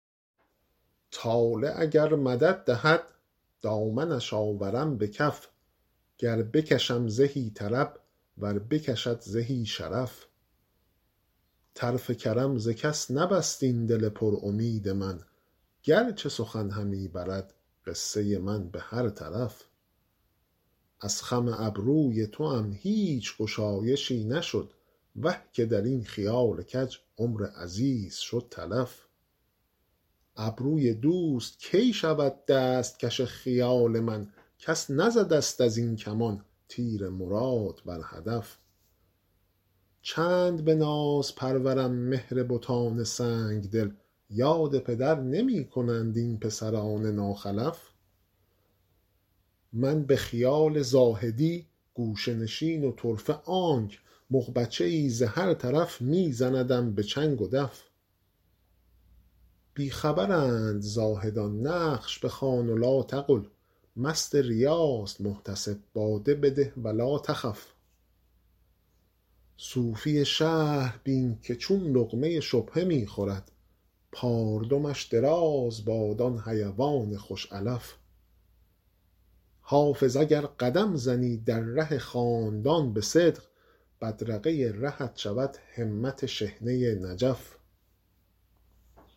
طالع اگر مدد دهد دامنش آورم به کف گر بکشم زهی طرب ور بکشد زهی شرف طرف کرم ز کس نبست این دل پر امید من گر چه سخن همی برد قصه من به هر طرف از خم ابروی توام هیچ گشایشی نشد وه که در این خیال کج عمر عزیز شد تلف ابروی دوست کی شود دست کش خیال من کس نزده ست از این کمان تیر مراد بر هدف چند به ناز پرورم مهر بتان سنگ دل یاد پدر نمی کنند این پسران ناخلف من به خیال زاهدی گوشه نشین و طرفه آنک مغبچه ای ز هر طرف می زندم به چنگ و دف بی خبرند زاهدان نقش بخوان و لاتقل مست ریاست محتسب باده بده و لاتخف صوفی شهر بین که چون لقمه شبهه می خورد پاردمش دراز باد آن حیوان خوش علف حافظ اگر قدم زنی در ره خاندان به صدق بدرقه رهت شود همت شحنه نجف